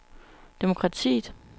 demokratiet